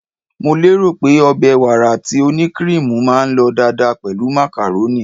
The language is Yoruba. Mo lérò pé ọbẹ̀ wàrà tí ó ní kiriimu máa lọ dáadáa pẹ̀lú macaroni.